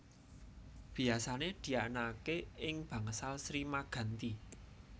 Biyasané dianakaké ing Bangsal Sri Maganti